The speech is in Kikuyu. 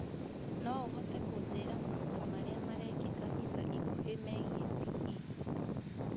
No ũhote kũnjĩra maũndũ marĩa marekĩka ica ikuhĩ megiĩ p.e